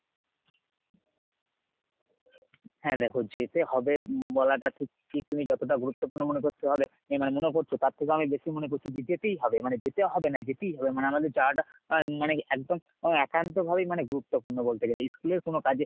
হ্যাঁ দেখো যেতে হবে বলাটা ঠিক ঠিক তুমি যতটা গুরুত্বপূর্ণ মনে করছ হবে এ মানে মনে করছ তার থেকে অনেক বেশি মনে করছি, যেতেই হবে, মানে যেতে হবে না যেতেই হবে। মানে আমাদের যাওয়াটা মানে একদম একান্তভাবেই মানে গুরুত্বপূর্ণ বলতে গেলে school এর কোন কাজে